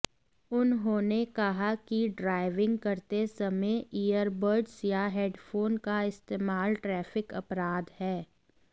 उन्होंने कहा कि ड्राइविंग करते समय ईयरबड्स या हेडफोन का इस्तेमाल ट्रैफिक अपराध है